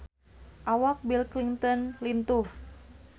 Awak Bill Clinton lintuh